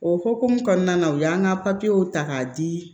O hokumu kɔnɔna na u y'an ka ta k'a di